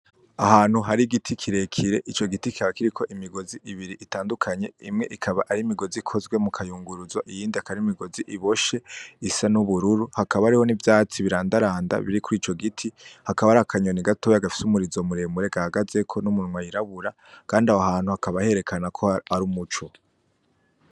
Ahantu har'igiti kirekire ico giti kikaba kiriko imigozi itandukanye imwe ikaba ar'imigozi ikozwe mukayaguruzo, iyindi akaba ar'imigozi iboshe isa n'ubururu, hakaba hariho n'ivyatsi birandaranda biri kurico giti, hakaba hariho akanyoni gatoya gafis'umurizo muremure gahagazeko n'umunwa wirabura kand 'aho hantu hakaba herekana ko har'umuco.